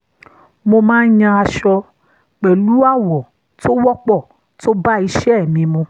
mo máa yan aṣọ pẹ̀lú àwọ̀ tó wọ́pọ̀ tó bá iṣẹ́ mi mu